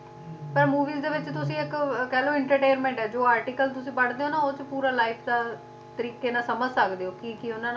ਤੇ movies ਦੇ ਵਿੱਚ ਤੁਸੀ ਇੱਕ ਆਹਾ ਕਹਿਲੋ entertainment ਐ ਜੋ article ਤੁਸੀ ਪੜ੍ਹਦੇ ਹੋ ਨਾ ਉਹ ਚ ਪੂਰਾ life ਦਾ ਤਰੀਕੇ ਨਾਲ ਸਮਝ ਸਕਦੇ ਹੋ ਕੀ ਕੀ